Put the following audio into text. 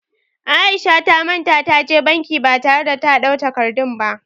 Aisha ta manta ta je banki ba tare da ta ɗau takardun ba